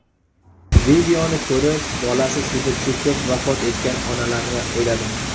Videoni ko‘rib, bolasi suvda cho‘kib vafot etgan onalarni o‘yladim.